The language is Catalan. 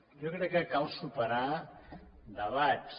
jo crec que cal superar debats